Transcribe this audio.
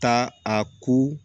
Taa a ko